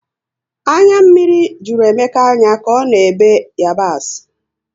Anya mmiri jụrụ Emeka anya ka ọ na ebe onions